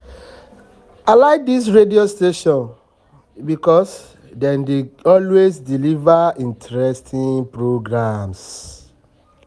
i like dis radio station because dem dey always deliver interesting programs